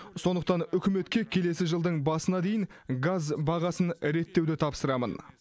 сондықтан үкіметке келесі жылдың басына дейін газ бағасын реттеуді тапсырамын